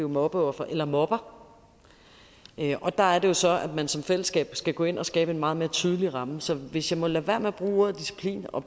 mobbeoffer eller mobber og der er det så at man som fællesskab skal gå ind og skabe en meget mere tydelig ramme så hvis jeg må lade være med at bruge ordet disciplin og